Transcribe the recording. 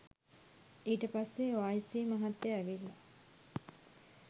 ඊට පස්සෙ ඕඅයිසී මහත්තය ඇවිල්ල